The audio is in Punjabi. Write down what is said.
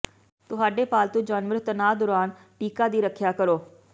ਤੁਹਾਡੇ ਪਾਲਤੂ ਜਾਨਵਰ ਤਣਾਅ ਦੌਰਾਨ ਟੀਕਾ ਦੀ ਰੱਖਿਆ ਕਰੋ